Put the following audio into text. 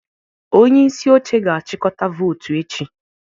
Onye isi oche ga-achịkọta votu echi.